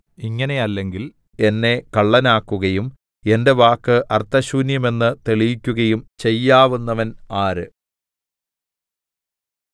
ഇങ്ങനെയല്ലെങ്കിൽ എന്നെ കള്ളനാക്കുകയും എന്റെ വാക്ക് അർത്ഥശൂന്യമെന്ന് തെളിയിക്കുകയും ചെയ്യാവുന്നവൻ ആര്